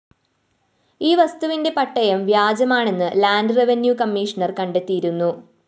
ഈ വസ്തുവിന്റെ പട്ടയം വ്യാജമാണെന്ന് ലാൻഡ്‌ റെവന്യൂ കമ്മീഷണർ കണ്ടൈത്തിയിരുന്നു